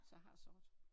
Så jeg har sort